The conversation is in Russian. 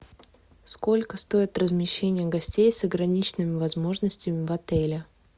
сколько стоит размещение гостей с ограниченными возможностями в отеле